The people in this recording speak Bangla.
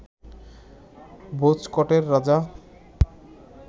ভোজকটের রাজা